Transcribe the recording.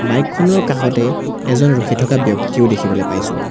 Bike খনৰ কাষতেই এজন ৰখি থাকা ব্যক্তিও দেখিবলৈ পাইছোঁ।